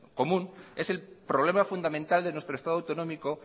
común es el problema fundamental de nuestro estado autonómico